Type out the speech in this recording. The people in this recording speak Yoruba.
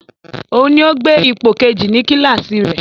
Òun ni ó gbé ipò kejì ní kíláàsì rẹ